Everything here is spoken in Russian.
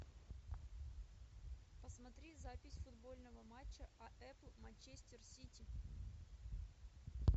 посмотри запись футбольного матча апл манчестер сити